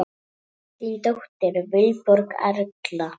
Þín dóttir, Vilborg Erla.